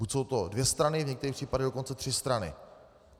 Buď jsou to dvě strany, v některých případech dokonce tři strany.